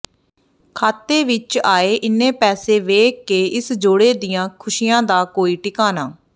ਖਾਤੇ ਵਿਚ ਆਏ ਇੰਨੇ ਪੈਸੇ ਵੇਖ ਕੇ ਇਸ ਜੋੜੇ ਦੀਆਂ ਖ਼ੁਸ਼ੀਆਂ ਦਾ ਕੋਈ ਟਿਕਾਣਾ